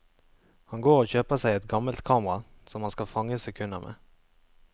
Han går og kjøper seg et gammelt kamera som han skal fange sekunder med.